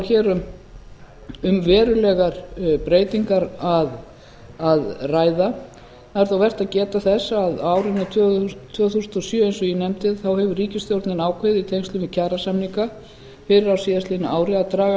hér um verulegar breytingar að ræða það er þó vert að geta þess að á árinu tvö þúsund og sjö eins og ég nefndi þá hefur ríkisstjórnin ákveðið í í tengslum við kjarasamninga fyrr á síðastliðnu ári að draga